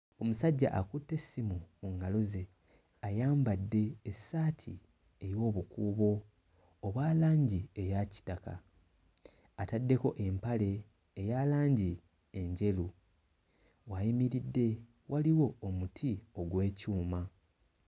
Omusajja akutte essimu mu ngalo ze ayambadde essaati ey'obukuubo obwa langi eya kitaka. Ataddeko empale eya langi enjeru. W'ayimiridde waliwo omuti ogw'ekyuma.